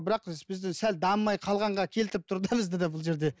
бірақ біз бізді сәл дамымай қалғанға келтіріп тұр да бізді де бұл жерде